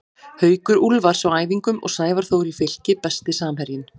Haukur Úlfars á æfingum og Sævar Þór í Fylki Besti samherjinn?